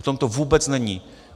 V tom to vůbec není.